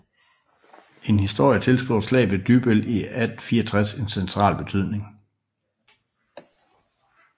En historie tilskriver Slaget ved Dybbøl i 1864 en central betydning